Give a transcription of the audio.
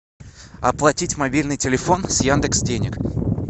оплатить мобильный телефон с яндекс денег